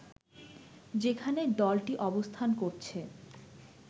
যেখানে দলটি অবস্থান করছে